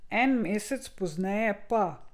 En mesec pozneje pa ...